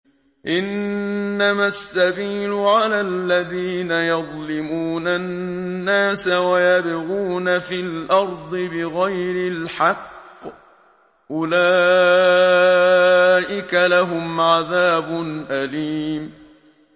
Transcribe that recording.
إِنَّمَا السَّبِيلُ عَلَى الَّذِينَ يَظْلِمُونَ النَّاسَ وَيَبْغُونَ فِي الْأَرْضِ بِغَيْرِ الْحَقِّ ۚ أُولَٰئِكَ لَهُمْ عَذَابٌ أَلِيمٌ